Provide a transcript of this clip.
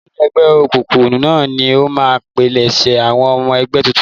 Olórí ẹgbẹ́ òkùnkùn náà ni ó máa ń pilẹ̀sẹ̀ àwọn ọmọ ẹgbẹ́ tuntun.